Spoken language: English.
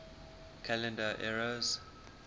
calendar eras